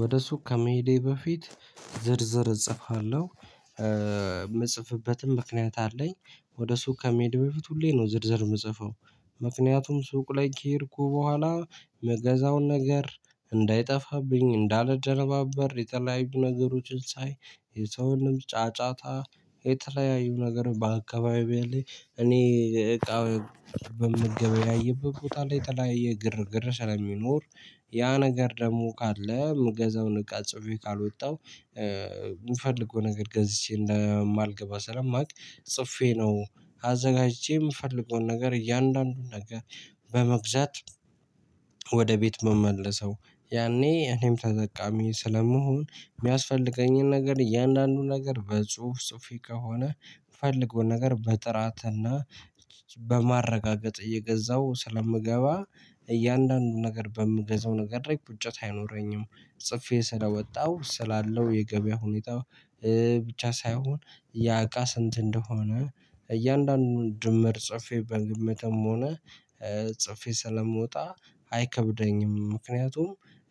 ወደ ሱቅ ከመሄዴ በፊት ዝርዝር እጽፋለሁ። የምጽፍበትም ምክንያት አለኝ። ወደ ሱቅ ከመሄድ በፊት ሁሌ ነው ዝርዝር የምጽፈው። ምክንያቱም ሱቅ ላይ ከሄድኩ በኋላ ምገዛውን ነገር እንዳይጠፋብኝ እንዳልደነባበር የተለያዩ ነገሮችን ሳይ የሰውንም ጫጫታ የተለያዩ ነገር በአካባቢው ያለለ እኔ እቃ በምገበያይበት ቦታ ላይ የተለያየ ግርግር ስለሚኖር ያ ነገር ደግሞ ካለ ምገዛውን እቃ ጽፌ ካልወጣው የምፈልገው ነገር ገዝቼ እንደማልገባ ስለማውቅ ጽፌ ነው። አዘጋጅቼ የምፈልገውን ነገር እያንዳንዱን ነገር በመግዛት ወደ ቤት ምመለሰው ያኔ እኔም ተጠቃሚ ስለመሆን የሚያስፈልገኝን ነገር እያንዳንዱ ነገር በጽሁፍ ጽሁፌ ከሆነ የምፈልገውን ነገር በጥራት እና በማረጋገጥ እየገዛሁ ስለምገባ። እያንዳንዱን ነገር በምገዛው ነገር ደግሞ ቁጭት አይኖረኝም። ጽፌ ስለወጣሁ ስላለው የገበያ ሁኔታ ብቻ ሳይሆን ያእቃ ስንት እንደሆነ እያንዳንዱን ድምር ጽፌ በግምትም ሆነ ጽፌ ስለምወጣ። አይከብደኝም ምክንያቱም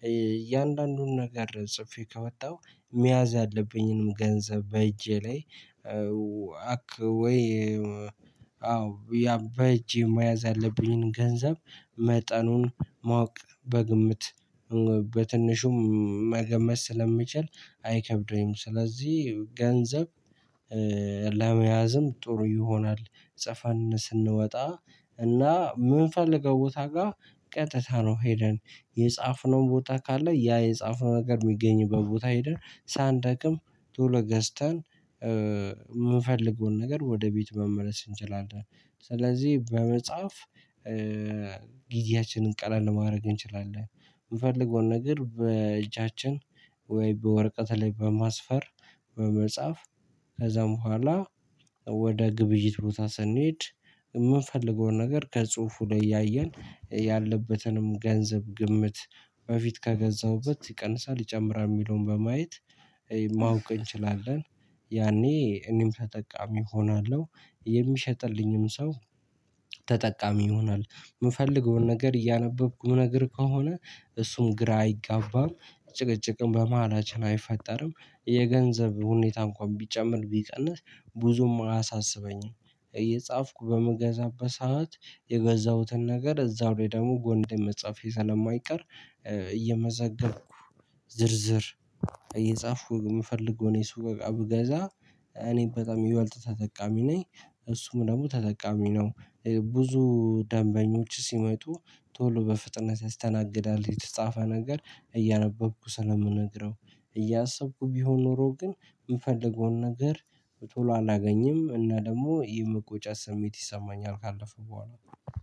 እያንዳንዱን ነገር ጽፌ ከወጣሁ መያዝ ያለብኝንም ገንዘብ በእጄ ላይ። አክ ወይ አዎ ያ በእጄ መያዝ አለብኝን ገንዘብ መጠኑን ማወቅ በግምት በትንሹም መገመት ስለምችል አይከብደኝም ስለዚህ ገንዘብ ለመያዝም ጥሩ ይሆናል። ጽፈን ስንወጣ እና የምንፈልገው ቦታ ጋር ቀጥታ ነው ሄደን የጻፍነው ቦታ ካለ ያ የጻፍነው ነገር የሚገኝበት ቦታ ሄደን ሳንደክም ቶሎ ገዝተን የምፈልገውን ነገር ወደ ቤት መመለስ እንችላለን። ስለዚህ በመጽሐፍ ጊዜያችንን ቀላል ማድረግ እንችላለን። የምፈልገውን ነገር በእጃችን ወይ በወረቀት ላይ በማስፈር በመጻፍ ከዛም በኋላ ወደ ግብይት ቦታ ስንሄድ የምንፈልገውን ነገር ከጽሁፉ ላይ እያየን ያለበትንም ገንዘብ ግምት በፊት ከገዛሁበት ይቀንሳል ይጨምራል የሚለውን በማየት ማወቅ እንችላለን። ያኔ እኔም ተጠቃሚ እሆናለሁ የሚሸጥልኝም ሰው ተጠቃሚ ይሆናል የምፈልገውን ነገር እያነበብኩ የምነግር ከሆነ እሱም ግራ አይጋባም። ጭቅጭቅም በመሃላችን አይፈጠርም የገንዘብ ሁኔታ እንኳን ቢጨምር ቢቀንስ ብዙም አያሳስበኝም። እየጻፍኩ በምገዛበት ሰዓት የገዛሁትን ነገር እዛው ላይ ደግሞ ጎንን ላይ መጻፌ ስለማይቀር እየመዘገብኩ ዝርዝር እየጻፉኩ የምፈልገውን የሱቅ እቃ ብገዛ እኔ በጣም ይበልጥ ተጠቃሚ ነኝ። እሱም ደግሞ ተጠቃሚ ነው። ብዙ ደንበኞች ሲመጡ ቶሎ በፍጥነት ያስተናግዳል የተጻፈ ነገር እያነበብኩ ስለምነግረው። እያሰብኩ ቢሆን ኖሮ ግን የምፈልገውን ነገር ቶሎ አላገኝም እና ደግሞ የመቆጨት ስሜት ይሰማኛል ካለፍኩ በኋላ